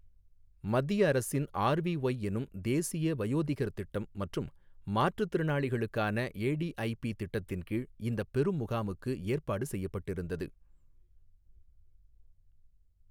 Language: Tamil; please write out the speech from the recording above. மத்திய அரசின் ஆர்விஒய் எனும் தேசிய வயோதிகர் திட்டம் மற்றும் மாற்றுத் திறளாளிகளுக்கான ஏடிஐபி திட்டத்தின் கீழ் இந்தப் பெரு முகாமுக்கு ஏற்பாடு செய்யப்பட்டிருந்தது.